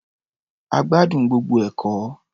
A gbádùn gbogbo ẹ̀kọ́.